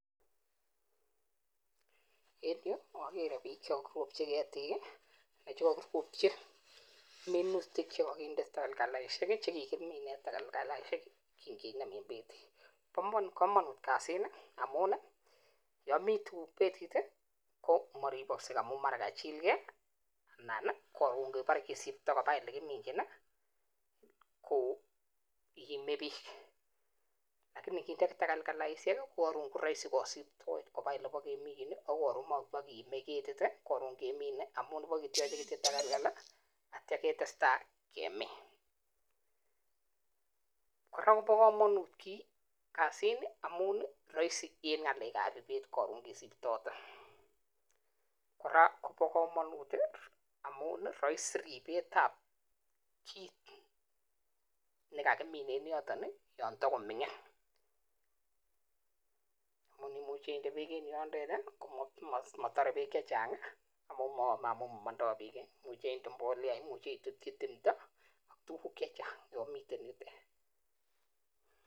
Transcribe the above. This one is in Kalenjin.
En yu okere biik chekokiropchi keetik anan chekomutyii minuutik chekokinde takalkalisiek. Chekikimin en takalkalisiek, kikineem en beetit. Bo komonut kasini amun yon mi tuguuk betit I,ko moriboksei amun mara kachilgei, ana ko ingebore kisiptoo koba olekiminyiin ko iime biik. Lakini inginde takalkalisiek koroisi kosiptoet koba olekiminyin ak koron komobokiime ketit. Koron kemine amun ibokityoche kityok takalkal i ak ityo ketestai kemin. kora kobo komonut kasini amun roisi en ngalek ab ibet koron kisiptote. Kora kobo komonut amun Roisin ribetab kit nekakimin en yotok yon tokomingin. Amun imuche indee beek en yotet komotore beek chechang amaun momondoo beek imuche inde mbolea, ak imuche itutyii timdoo tuguuk chechang yon miten yutet.